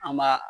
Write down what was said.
An b'a